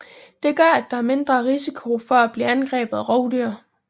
Det gør at der er mindre risiko for at blive angrebet af rovdyr